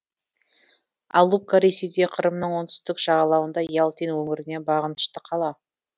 алупка ресейде қырымның оңтүстік жағалауында ялтин өңіріне бағынышты қала